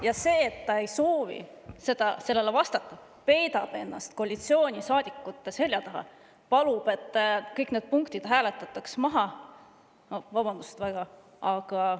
Ja see, et ta ei soovi sellele vastata, peidab ennast koalitsioonisaadikute selja taha ja palub, et kõik need punktid hääletataks maha – no vabandust väga, aga …